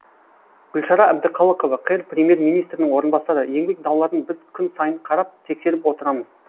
гүлшара әбдіқалықова қр премьер министрінің орынбасары еңбек дауларын біз күн сайын қарап тексеріп отырамыз